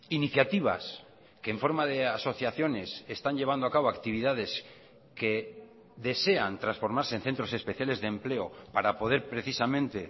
iniciativas que en forma de asociaciones están llevando a cabo actividades que desean transformarse en centros especiales de empleo para poder precisamente